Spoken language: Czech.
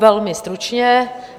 Velmi stručně.